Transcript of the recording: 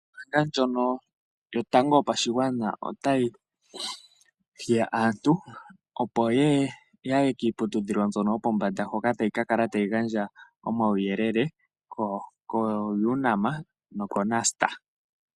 Ombaanga ndjono yo tango yopashigwana ota yi hiya aantu opo yaye kiiputudhilo ndjono yo pombanda hoka tayi ka kala tayi gandja uuyelele koUNAM noko NUST.